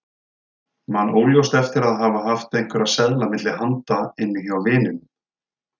Man óljóst eftir að hafa haft einhverja seðla milli handa inni hjá vininum.